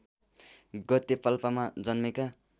गते पाल्पामा जन्मेका